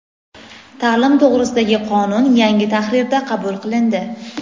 "Ta’lim to‘g‘risida"gi qonun yangi tahrirda qabul qilindi.